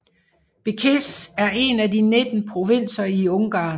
Békés er en af de 19 provinser i Ungarn